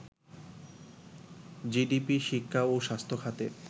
GDP, শিক্ষা ও স্বাস্থ্য খাতে